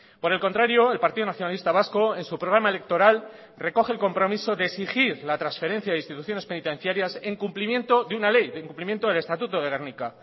por el contrario el partido nacionalista vasco en su programa electoral recoge el compromiso de exigir la transferencia de instituciones penitenciarias en cumplimiento de una ley del cumplimiento del estatuto de gernika